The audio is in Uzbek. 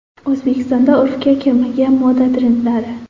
O‘zbekistonda urfga kirmagan moda trendlari.